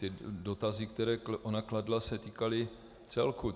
Ty dotazy, které ona kladla, se týkaly celku.